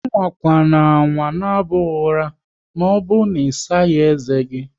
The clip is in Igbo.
Amakwanama naba ụra maọbụru na isaghi ezé gi!